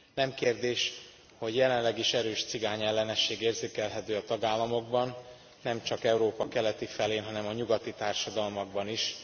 Nem kérdés, hogy jelenleg is erős cigányellenesség érzékelhető a tagállamokban, nem csak Európa keleti felén, hanem a nyugati társadalmakban is.